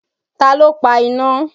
Ta ló pa iná?